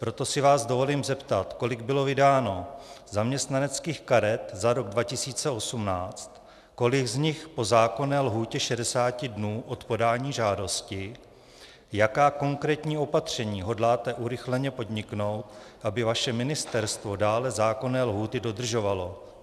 Proto se vás dovolím zeptat, kolik bylo vydáno zaměstnaneckých karet za rok 2018, kolik z nich po zákonné lhůtě 60 dnů od podání žádosti, jaká konkrétní opatření hodláte urychleně podniknout, aby vaše ministerstvo dále zákonné lhůty dodržovalo.